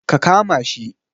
Ka kama shi